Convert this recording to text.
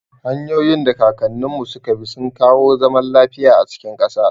Hanyoyin da kakanninmu suka bi sun kawo zaman lafiya a cikin ƙasa.